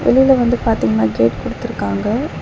வெளியில வந்து பாத்தீங்னா கேட் குடுத்துருக்காங்க.